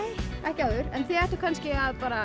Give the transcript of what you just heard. ekki áður en þið ættuð kannski að